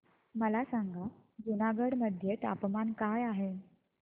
मला सांगा जुनागढ मध्ये तापमान काय आहे